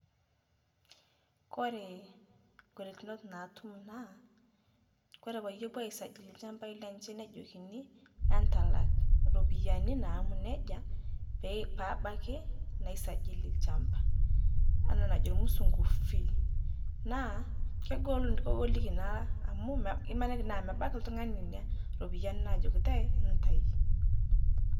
Koree ng'olikinot naatum naa ore pebuo aisajili lchambai lenye nejokini entalak ropiyani nejia pebaki naisajili olchamba enaa anajo irmusungu fee naa kegoliki naa amu imaniki na mebaki oltungani ina ropiyani najokini entau.